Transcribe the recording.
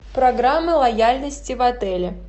программа лояльности в отеле